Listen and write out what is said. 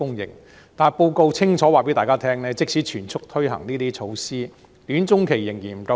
然而，報告清楚告訴大家，即使全速推行這些措施，短中期的土地仍然不足。